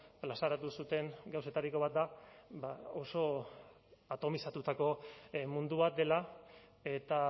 plazaratu zuten gauzetariko bat da oso atomizatutako mundu bat dela eta